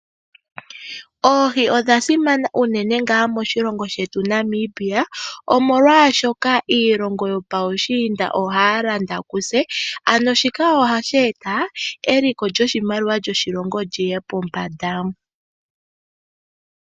Oohi odhasimana unene ngaa moshilongo shetu Namibia, omwolwashoka iilonga yopuushiinda ohaya landa kutse, ano shika ohashi eta eliko lyoshimaliwa lyoshilongo lyiye pombanda.